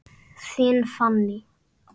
Þín Fanný.